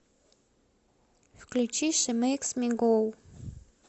включи ши мэйкс ми гоу